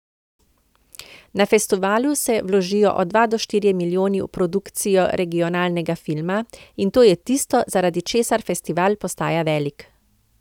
Na festivalu se vložijo od dva do štirje milijoni v produkcijo regionalnega filma, in to je tisto, zaradi česar festival postaja velik.